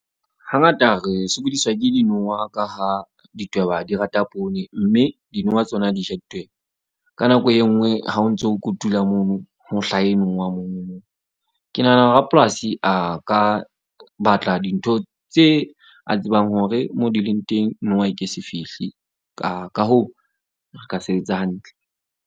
Hangata re sokodiswa ke dinowa ka ha ditweba, di rata poone. Mme dinowa tsona di ja ditweba. Ka nako e nngwe ha o ntso kotula mono mohla e mong wa mono. Ke nahana rapolasi a ka batla dintho tse a tsebang hore mo di leng teng, nowa e ke se fihle. Ka hoo, re ka se etse hantle.